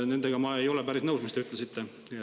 Nendega, mis te ütlesite, ma ei ole päris nõus.